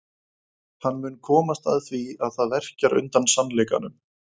Hann mun komast að því að það verkjar undan sannleikanum.